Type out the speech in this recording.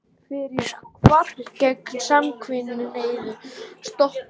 Frumvarp gegn samkynhneigðum stoppað